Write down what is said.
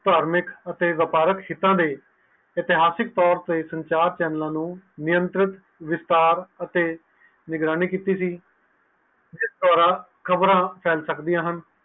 ਤਾਰਮਿਕ ਅਤੇ ਵਯਾਪ੍ਰਕ ਸੀਤਾ ਤੇ ਇਤਿਹਾਸਿਕ ਤੋਰ ਤੇ ਨਿਯੰਤਰਿਤ ਵਿਸਤਾਰ ਅਤੇ ਨਿਗਰਾਨੀ ਕੀਤੀ ਸੀ ਇਕ ਦੌਰਾਨ ਖ਼ਬਰ ਫੇਲ ਸਕਦੀਆਂ ਹਨ